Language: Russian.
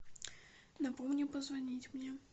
напомни позвонить мне